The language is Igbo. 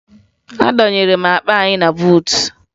Ị dọnyere akpa anyị na buutu?